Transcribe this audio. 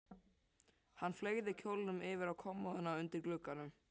Hann fleygði kjólnum yfir á kommóðuna undir glugganum.